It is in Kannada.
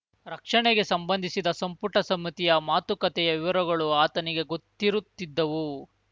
ರಕ್ಷಣೆಗೆ ಸಂಬಂಧಿಸಿದ ಸಂಪುಟ ಸಮ್ಮತಿಯ ಮಾತುಕತೆಯ ವಿವರಗಳು ಆತನಿಗೆ ಗೊತ್ತಿರುತ್ತಿದ್ದವು